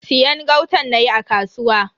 Siyan gautan nayi a kasuwa.